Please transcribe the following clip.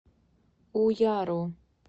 уяру